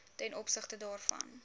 ten opsigte daarvan